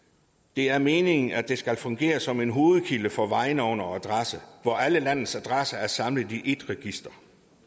det er meningen at det skal fungere som en hovedkilde for vejnavne og adresser hvor alle landets adresser er samlet i ét register